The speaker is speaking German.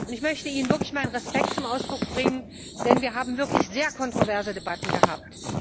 Ich möchte Ihnen wirklich meinen Respekt zum Ausdruck bringen, denn wir haben wirklich sehr kontroverse Debatten gehabt.